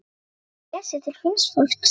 Mamma réð sig til fíns fólks í